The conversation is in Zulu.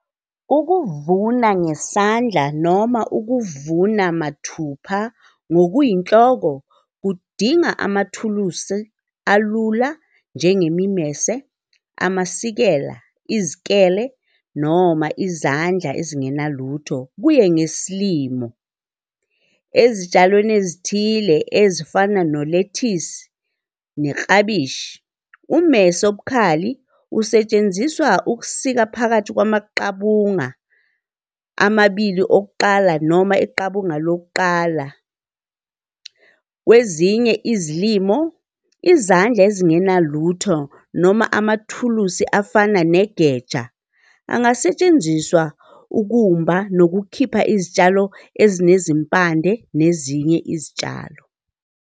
Ukuvuna ngesandla noma ukuvuna mathupha ngokuyinhloko, kudinga amathulusi alula njengemimese, amasikela, izikele, noma izandla ezingenalutho kuye ngesimo. Ezitshalweni ezithile ezifana nolethisi, neklabishi, ummese obukhali usetshenziswa ukusika phakathi kwamaqabunga amabili okuqala noma iqabunga lokuqala. Kwezinye izilimo, izandla ezingenalutho noma amathulusi afana negeja angasetshenziswa ukumba nokukhipha izitshalo ezinezimpande nezinye izitshalo.